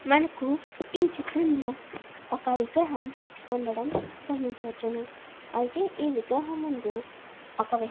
మనకి ఈ చిత్రం లొ ఒక విగ్రహం వుండడం గమనించవచ్చును అయతె ఈ విగ్రహం ముందు ఒక వ్యక్తి --